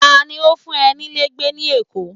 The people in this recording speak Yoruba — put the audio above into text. ta ni o fun e nílé gbé ni èkó